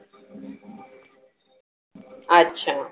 अच्छा.